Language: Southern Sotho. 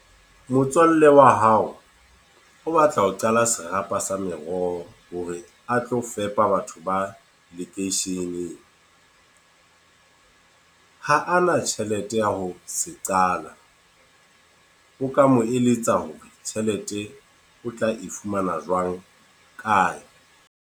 Motswalle wa hao, o batla ho qala serapa sa meroho hore a tlo fepa batho ba lekeisheneng. Ha a na tjhelete ya ho se qala. O ka mo eletsa ho re tjhelete o tla e fumana jwang, kae?